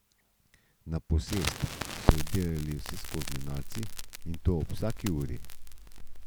Na posest so vdirali vsevrstni norci, in to ob vsaki uri.